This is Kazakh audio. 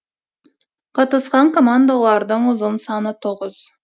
қатысқан командалардың ұзын саны тоғыз